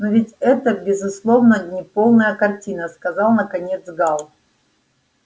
но ведь это безусловно неполная картина сказал наконец гаал